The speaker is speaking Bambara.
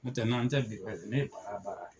Ntɛ n'an tɛ bi ne bara bara